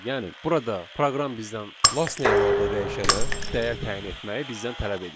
Yəni burada proqram bizdən Lastname adlı dəyişənə dəyər təyin etməyi bizdən tələb edir.